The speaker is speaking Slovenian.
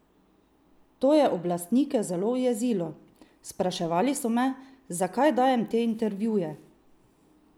To je oblastnike zelo ujezilo: "Spraševali so me, zakaj dajem te intervjuje.